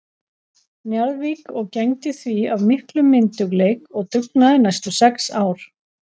Njarðvík og gegndi því af miklum myndugleik og dugnaði næstu sex ár.